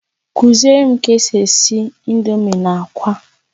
Kuzierem ka esi esi indomie na akwa